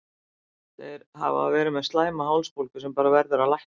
Þeir hafa verið með slæma hálsbólgu sem bara verður að lækna.